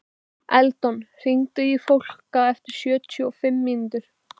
Eldon, hringdu í Fólka eftir sjötíu og fimm mínútur.